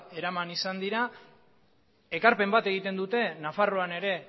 eraman izan dira ekarpen bat egiten dute nafarroan ere